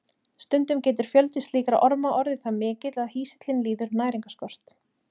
Stundum getur fjöldi slíkra orma orðið það mikill að hýsillinn líður næringarskort.